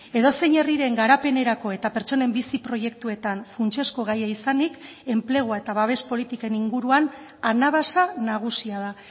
edozein herriren garapenerako eta pertsonen bizi proiektuetan funtsezko gaia izanik enplegua eta babes politiken inguruan anabasa nagusia da